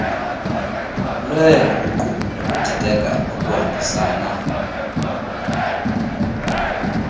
lweenguqu nokudideka okuhambisana